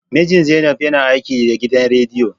Mijin Zainab yana aiki da gidan rediyo